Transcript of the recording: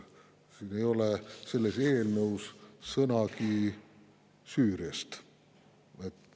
Siin, selles eelnõus ei ole sõnagi Süüriast.